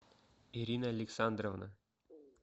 ирина александровна